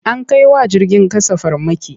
An kai wa jirgin ƙasa farmaki.